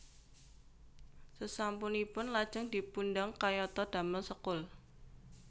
Sesampun ipun lajeng dipundang kayata damel sekul